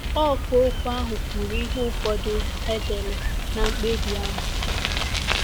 Ọkà okwu ahụ kwuru ihe ụfọdụ e dere ná mkpebi ahụ.